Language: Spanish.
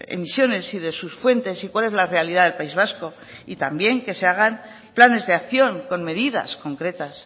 emisiones y de sus fuentes y cuál es la realidad del país vasco y también que se hagan planes de acción con medidas concretas